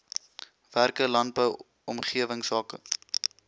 werke landbou omgewingsake